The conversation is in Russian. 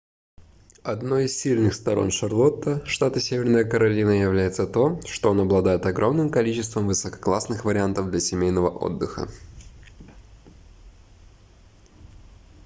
одной из сильных сторон шарлотта штат северная каролина является то что он обладает огромным количеством высококлассных вариантов для семейного отдыха